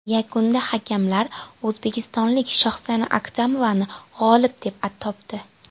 Yakunda hakamlar o‘zbekistonlik Shohsana Atkamovani g‘olib deb topdi.